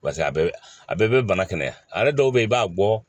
a bɛɛ a bɛɛ bɛ bana kɛnɛya a yɛrɛ dɔw bɛ ye i b'a bɔ